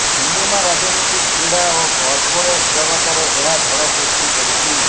cinema ରାଜନୀତି କ୍ରିଡ଼ା ଓ କର୍ପୋରେଟ ଜଗତରେ ଏହା ଝଡ଼ ସୃଷ୍ଟି କରିଛି